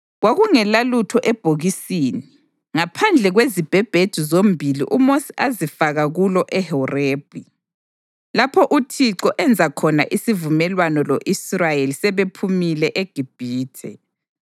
Kwakungelalutho ebhokisini ngaphandle kwezibhebhedu zombili uMosi azifaka kulo eHorebhi, lapho uThixo enza khona isivumelwano lo-Israyeli sebephumile eGibhithe.